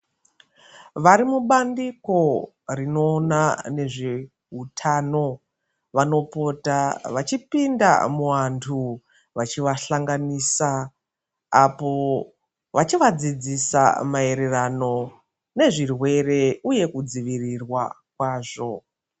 Vari mubandiko rinoona ngezveutano, vanopota vachipinda muanthu, vachivahlanganisa, apo vachivadzidzisa maererano nezvirwere uye kudzivirirwa kwazvo.